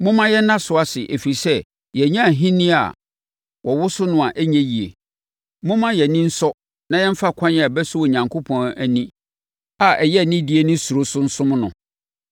Momma yɛnna so ase, ɛfiri sɛ, yɛanya ahennie a wɔwoso no a ɛnyɛ yie. Momma yɛn ani nsɔ na yɛmfa ɛkwan a ɛbɛsɔ Onyankopɔn ani a ɛyɛ anidie ne suro so nsom no,